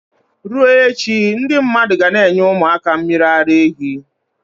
Ruo echi, ndi mmadu ga n' enye umu aka mmiri ara ehi